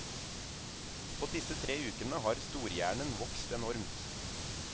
På disse tre ukene har storhjernen vokst enormt.